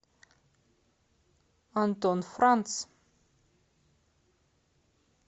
антон франц